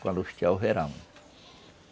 Quando estiar o verão.